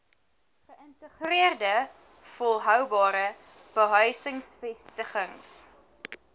geïntegreerde volhoubare behuisingsvestigings